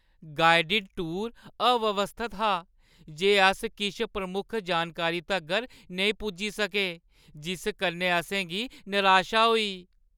Guided tour अव्यवस्थत हा, ते अस किश प्रमुख जानकारी तगर नेईं पुज्जी सके जिस कन्नै असें गी नराशा होई।